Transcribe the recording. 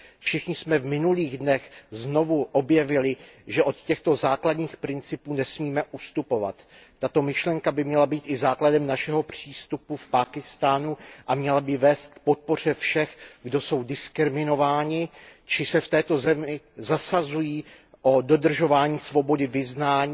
Všichni jsme v minulých dnech znovu objevili, že od těchto základních principů nesmíme ustupovat. Tato myšlenka by měla být i základem našeho přístupu v Pákistánu a měla by vést k podpoře všech, kdo jsou diskriminováni, či se v této zemi zasazují o dodržování svobody vyznání,